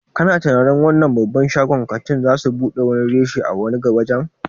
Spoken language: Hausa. Kana tunanin wannan babban shagon ƙanti zasu buɗe wani reshe a wani waje?